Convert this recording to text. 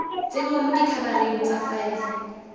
tsenngwa mo dikhabareng tsa faele